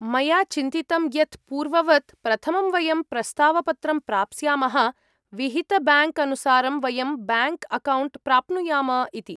मया चिन्तितम् यत् पूर्ववत्, प्रथमं वयं प्रस्तावपत्रं प्राप्स्यामः, विहितब्याङ्क्अनुसारं, वयं ब्याङ्क्अकौण्ट् प्राप्नुयाम इति।